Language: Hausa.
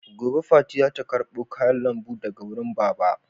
Gobe fati za ta karɓo kayan lambu daga wurin Baba.